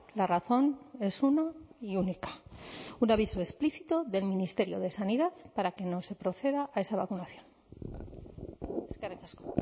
la razón es una y única un aviso explícito del ministerio de sanidad para que no se proceda a esa vacunación eskerrik asko